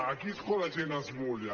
aquí és quan la gent es mulla